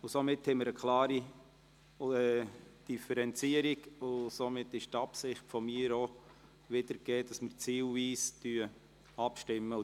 Somit haben wir eine klare Differenzierung, und es wird die Absicht umgesetzt, zielweise abzustimmen.